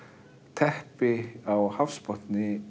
teppi á hafsbotni